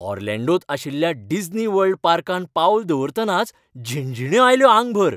ऑर्लांडोंत आशिल्ल्या डिस्नीवर्ल्ड पार्कांत पावल दवरतनाच झिणझिण्यो आयल्यो आंगभऱ!